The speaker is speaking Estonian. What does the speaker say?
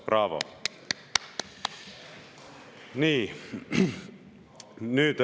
Braavo!